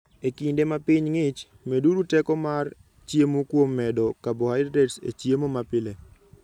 E kinde ma piny ng'ich, meduru teko mar chiemo kuom medo carbohydrates e chiemo mapile.